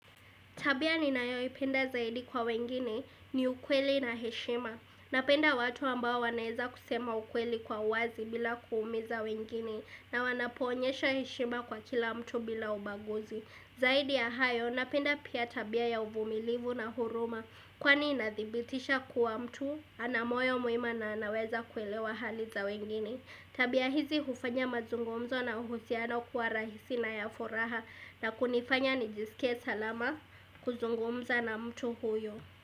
Tabia ni nayo ipenda zaidi kwa wengine ni ukweli na heshima. Napenda watu ambao wanaeza kusema ukweli kwa wazi bila kuumiza wengine na wanaponyesha heshima kwa kila mtu bila ubaguzi. Zaidi ya hayo napenda pia tabia ya uvumilivu na huruma kwani inadhibitisha kuwa mtu anamoyo muima na anaweza kuelewa hali za wengine. Tabia hizi hufanya mazungumzo na uhusiano kuwa rahisi na yafuraha na kunifanya nijisike salama kuzungumza na mtu huyo.